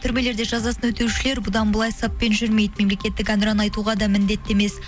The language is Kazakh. төрмелерде жазасын өтеушілер бұдан былай саппен жүрмейді мемлекеттік ән ұран айтуға да міндетті емес